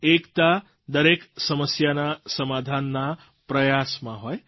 એકતા દરેક સમસ્યાના સમાધાનના પ્રયાસમાં હોય